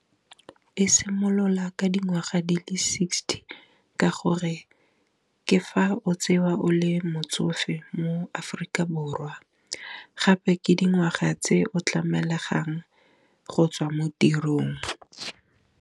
E simolola ka dingwaga di le sixty ka gore ke fa o tsewa o le motsofe mo Aforika Borwa, gape ke dingwaga tse o tlamelegang go tswa mo tirong.